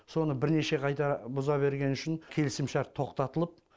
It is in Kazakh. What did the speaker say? соны бірнеше қайтара бұза бергені үшін келісімшарт тоқтатылып